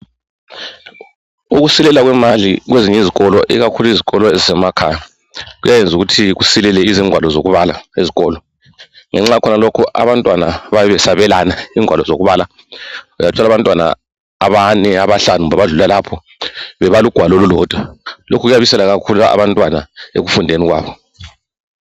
Ukusweleka kwemali kwezinye izikolo ikakhulu izikolo ezisemakhaya kuyayenza ukuthi kusilele izigwalo zokubala ezikolo ngenxa yakhonokhu abantwana bayabe besabelana igwalo zokubala uyathola abantwana abane abahlanu kumbe abadlula lapho bebala ugwalo olulodwa lokhu kuyabisela kakhulu abantwana ekufundeni kwabo.